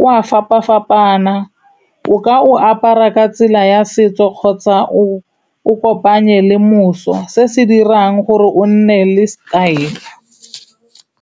o a fapa-fapana, o ka o apara ka tsela ya setso kgotsa o o kopanye le moso, se se dirang gore o nne le style.